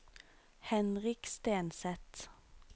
Henrik Stenseth